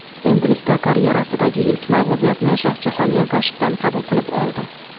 Endilikda karyerasidagi ilk mag‘lubiyatni Shohjahon Ergashevdan qabul qilib oldi.